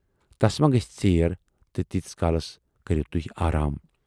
تَس ما گژھِ ژیر تہٕ تیٖتِس کالس کٔرِو تُہۍ آرام۔